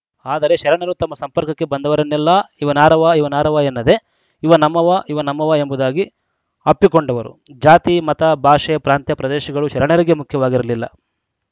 ಆದರೆ ಶರಣರು ತಮ್ಮ ಸಂಪರ್ಕಕ್ಕೆ ಬಂದವರನ್ನೆಲ್ಲಾ ಇವನಾರವ ಇವನಾರವ ಎನ್ನದೇ ಇವ ನಮ್ಮವ ಇವ ನಮ್ಮವ ಎಂಬುದಾಗಿ ಅಪ್ಪಿಕೊಂಡವರು ಜಾತಿ ಮತ ಭಾಷೆ ಪ್ರಾಂತ್ಯ ಪ್ರದೇಶಗಳು ಶರಣರಿಗೆ ಮುಖ್ಯವಾಗಿರಲಿಲ್ಲ